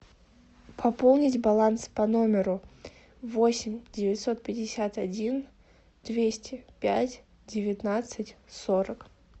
пополнить баланс по номеру восемь девятьсот пятьдесят один двести пять девятнадцать сорок